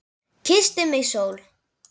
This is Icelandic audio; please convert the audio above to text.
Kyssti mig sól.